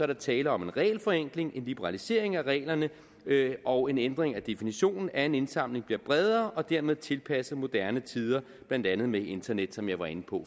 der tale om en regelforenkling en liberalisering af reglerne og en ændring af definitionen af en indsamling bliver bredere og dermed tilpasset moderne tider blandt andet med internet som jeg var inde på